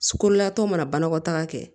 Kololataw mana banakɔtaga kɛ